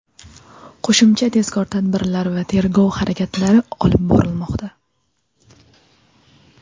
Qo‘shimcha tezkor tadbirlar va tergov harakatlari olib borilmoqda.